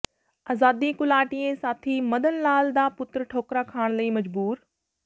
ਆਜ਼ਾਦੀ ਘੁਲਾਟੀਏ ਸਾਥੀ ਮਦਨ ਲਾਲ ਦਾ ਪੁੱਤਰ ਠੋਕਰਾਂ ਖਾਣ ਲਈ ਮਜਬੂਰ